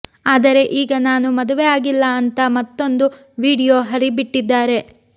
ಆದರೆ ಈಗ ನಾನು ಮದುವೆ ಆಗಿಲ್ಲ ಅಂತಾ ಮತ್ತೊಂದು ವಿಡಿಯೋ ಹರಿಬಿಟ್ಟಿದ್ದಾರೆ